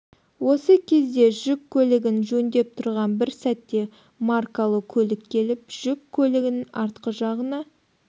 осы кезде жүк көлігін жөндеп тұрған бір сәтте маркалы көлік келіп жүк көлігінің артқы жағына